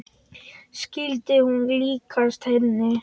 Skyldi hún líkjast henni?